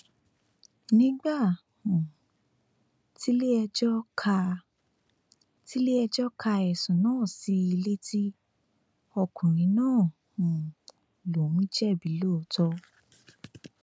nígbà um tiléẹjọ ka tiléẹjọ ka ẹsùn náà sí i létí ọkùnrin náà um lòún jẹbi lóòótọ